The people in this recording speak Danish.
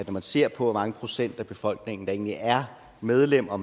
man ser på hvor mange procent af befolkningen der egentlig er medlem og